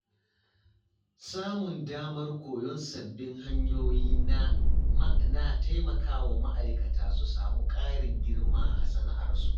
Samun damar koyon sababbin hanyoyi na taimaka wa ma’aikata su samu ƙarin girma a sana’arsu.